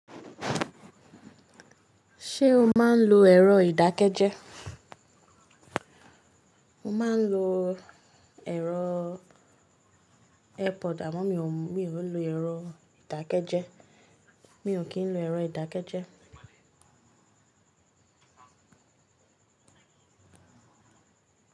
Ṣé o máa ń lo ẹ̀rọ ìdákẹ́jẹ́? Mo máa ń lo ẹ̀rọ Airpod àmọ́ mi o lu ẹ̀rọ ìdákẹ́jẹ́. Mi ò kí ń lo ẹ̀rọ ìdákẹ́jẹ́